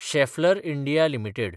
Schaeffler India limited